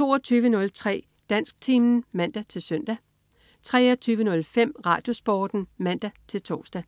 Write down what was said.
22.03 Dansktimen (man-søn) 23.05 RadioSporten (man-tors)